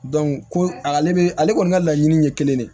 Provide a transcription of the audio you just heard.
ko ale bɛ ale kɔni ka laɲini ye kelen de ye